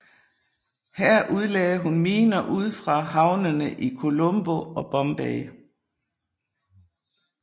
Her udlagde hun miner ud for havnene i Colombo og i Bombay